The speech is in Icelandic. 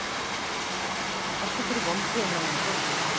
Erla: Ertu fyrir vonbrigðum með þennan fjölda?